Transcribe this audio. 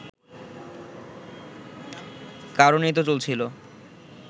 কারণেই তো চলছিল